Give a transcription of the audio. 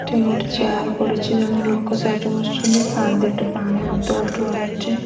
ତିନୋଟି ଚେୟାର ପଡ଼ିଛି। ଜଣେ ଲୋକ ସାଇଟ ରେ ବସିଛନ୍ତି। ପାଣି ଦିଟା ପାଣି ବୋଟଲ ଥୁଆ ହେଇଚି।